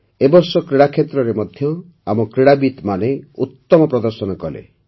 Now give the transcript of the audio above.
ଏ ବର୍ଷ କ୍ରୀଡ଼ା କ୍ଷେତ୍ରରେ ମଧ୍ୟ ଆମ କ୍ରୀଡ଼ାବିତ୍ମାନେ ଉତ୍ତମ ପ୍ରଦର୍ଶନ କଲେ